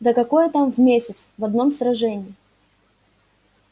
да какое там в месяц в одном сражении